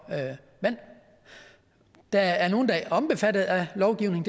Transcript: vand der er nogle der er omfattet af lovgivningen